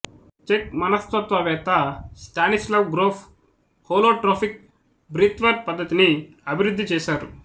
check మనస్తత్వవేత్త Stanislav Grof holotropic breathwork పద్ధతిని అభివృద్ధి చేశారు